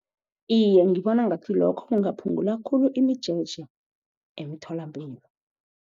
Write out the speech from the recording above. Iy,e ngibona ngathi lokho kungaphungula khulu imijeje emtholapilo.